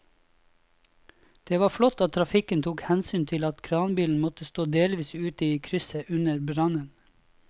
Det var flott at trafikken tok hensyn til at kranbilen måtte stå delvis ute i krysset under brannen.